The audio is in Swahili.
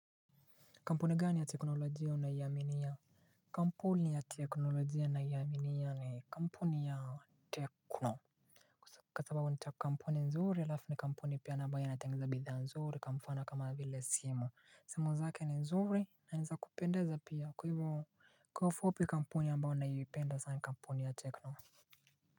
Kampuni gani ya teknolojia naiaminia? Kampuni ya teknolojia naiaminia ni kampuni ya Tecno. Kwa sababu nita kampuni nzuri alafu ni kampuni pia na ambayo inatengeneza bidhaa nzuri ka mfano kama vile simu. Simu zake ni nzuri na ni za kupendeza pia kwa ivo kwa ufupi kampuni ambayo naipenda zai kampuni ya Tekno.